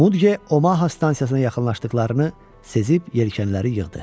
Mudqe Omaha stansiyasına yaxınlaşdıqlarını sezib yelkənləri yığdı.